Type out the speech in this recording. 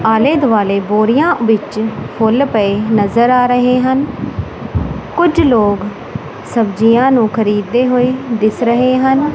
ਆਲ਼ੇ ਦੁਆਲੇ ਬੋਰਿਆਂ ਵਿੱਚ ਫੁੱਲ ਪਏ ਨਜ਼ਰ ਆ ਰਹੇ ਹਨ ਕੁਝ ਲੋਗ ਸਬਜੀਆਂ ਨੂੰ ਖਰੀਦਦੇ ਹੋਏ ਦਿੱਸ ਰਹੇ ਹਨ।